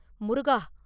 முருகா!